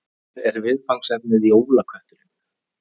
Í ár er viðfangsefnið Jólakötturinn